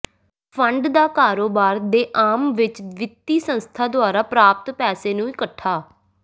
fund ਦਾ ਕਾਰੋਬਾਰ ਦੇ ਆਮ ਵਿਚ ਵਿੱਤੀ ਸੰਸਥਾ ਦੁਆਰਾ ਪ੍ਰਾਪਤ ਪੈਸੇ ਨੂੰ ਇਕੱਠਾ